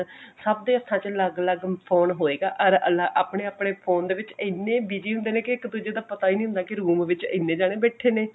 ਸਬਦੇ ਹੱਥਾਂ ਚ ਅੱਲਗ ਅੱਲਗ phone ਹੋਏਗਾ ਅਰ ਆਪਨੇ ਆਪਨੇ phone ਚ ਇਹਨੇ busy ਹੁੰਦੇ ਨੇ ਕੇ ਇੱਕ ਦੁੱਜੇ ਦਾ ਪਤਾ ਹੀ ਨਹੀਂ ਹੁੰਦਾ ਕਿ room ਵਿੱਚ ਇਹਨੇ ਜਾਣੇ ਬੈਠੇ ਨੇ